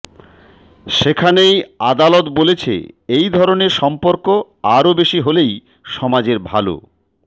সেখানেই আদালত বলেছে এই ধরণের সম্পর্ক আরও বেশি হলেই সমাজের ভাল